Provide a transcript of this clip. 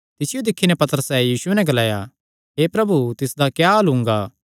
तिसियो दिक्खी नैं पतरसैं यीशुये नैं ग्लाया हे प्रभु तिसदा क्या हाल हुंगा